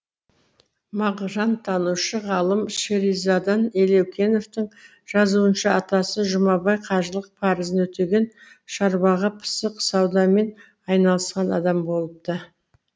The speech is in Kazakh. мағжантанушы ғалым шеризадан елеукеновтың жазуынша атасы жұмабай қажылық парызын өтеген шаруаға пысық саудамен айналысқан адам болыпты